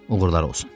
Uğurlar olsun.